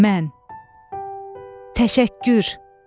Mən, təşəkkür.